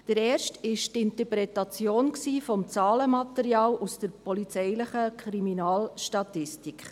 Der erste ist die Interpretation des Zahlenmaterials aus der Polizeistatistik.